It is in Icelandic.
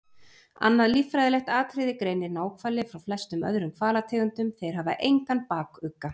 Annað líffræðilegt atriði greinir náhvali frá flestum öðrum hvalategundum- þeir hafa engan bakugga.